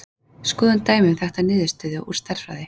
Skoðum dæmi um þekkta niðurstöðu úr stærðfræði.